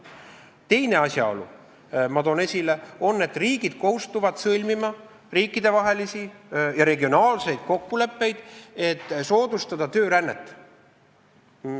Teine asjaolu, mille ma toon esile, on see, et riigid kohustuvad sõlmima riikidevahelisi ja regionaalseid kokkuleppeid, et soodustada töörännet.